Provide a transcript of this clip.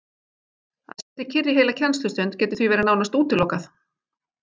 Að sitja kyrr í heila kennslustund getur því verið nánast útilokað.